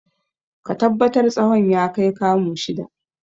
Ka tabbatar tsawon ya kai kamu shida!